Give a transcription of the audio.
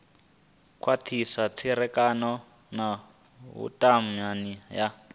khwathisa tserekano na vhutumani ya